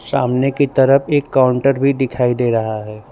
सामने की तरफ एक काउंटर भी दिखाई दे रहा है।